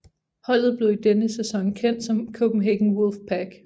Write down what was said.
Holdet blev i denne sæson kendt som Copenhagen Wolfpack